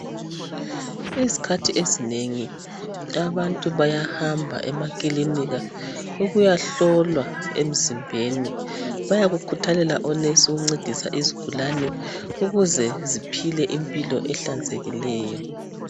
Izikhathi ezinengi abantu bayahamba emakilinika ukuyahlolwa emzimbeni .Bayakukhuthalela onurse ukuncedisa izigulane ukuze ziphile impilo ehlanzekileyo.